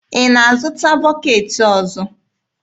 Ị na-azụta bọketị ọzọ?